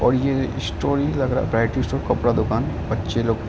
और ये कपड़ा दुकान है बच्चें लोग के --